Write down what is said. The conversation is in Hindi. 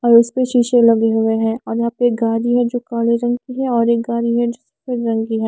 और उसपे शीशे लगे हुए हैं और यहाँ पे एक गारी है जो काले रंग की है और एक गारी है जो सफ़ेद रंग की है।